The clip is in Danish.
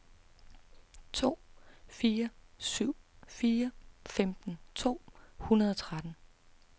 to fire syv fire femten to hundrede og tretten